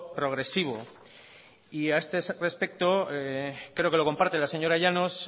progresivo y a este respecto creo que lo comparte la señora llanos